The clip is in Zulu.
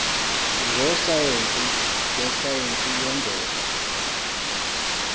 ngososayense besayense yemvelo